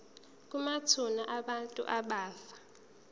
kwamathuna abantu abafa